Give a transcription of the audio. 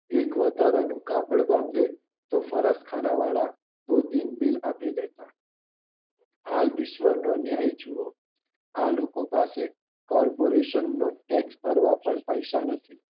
એક વધારાનું કાગળ બાંધે તો સરળ ખાનાવાળા આપી જતા હાલ ઈશ્વરનો ન્યાય જુઓ આ લોકો પાસે કોર્પોરેશનનો ટેક્સ નહારવા પણ પૈસા નથી